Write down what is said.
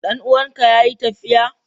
Dan uwanka yayi tafiya?